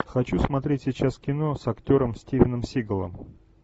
хочу смотреть сейчас кино с актером стивеном сигалом